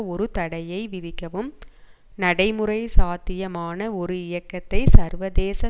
ஒரு தடையை விதிக்கவும் நடைமுறை சாத்தியமான ஒரு இயக்கத்தை சர்வதேச